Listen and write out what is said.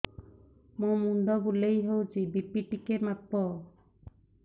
ମୋ ମୁଣ୍ଡ ବୁଲେଇ ହଉଚି ବି.ପି ଟିକେ ମାପ